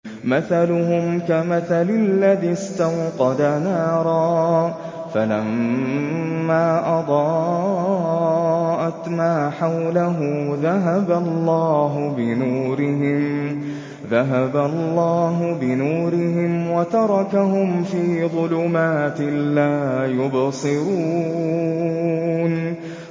مَثَلُهُمْ كَمَثَلِ الَّذِي اسْتَوْقَدَ نَارًا فَلَمَّا أَضَاءَتْ مَا حَوْلَهُ ذَهَبَ اللَّهُ بِنُورِهِمْ وَتَرَكَهُمْ فِي ظُلُمَاتٍ لَّا يُبْصِرُونَ